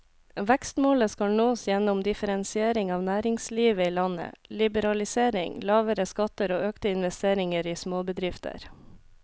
Vekstmålet skal nås gjennom differensiering av næringslivet i landet, liberalisering, lavere skatter og økte investeringer i småbedrifter.